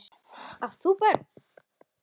Átt þú börn?